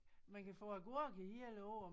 Man kan få agurker hele æ år